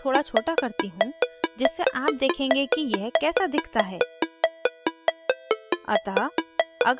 अब मैं इसे थोड़ा छोटा करती हूँ जिससे आप देखेंगे कि यह कैसा दिखता है